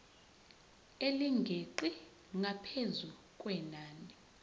elingeqi ngaphezu kwenani